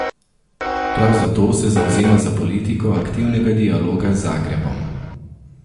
Prav zato se zavzema za politiko aktivnega dialoga z Zagrebom.